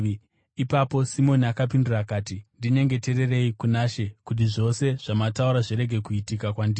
Ipapo Simoni akapindura akati, “Ndinyengetererei kuna She kuti zvose zvamataura zvirege kuitika kwandiri.”